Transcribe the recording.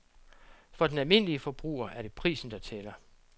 For den almindelige forbruger er det prisen, der tæller.